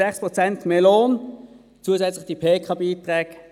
6 Prozent mehr Lohn und zusätzliche Pensionskassenbeiträge.